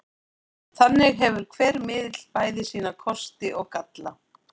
Þannig hefur hver miðill bæði sína kosti og galla.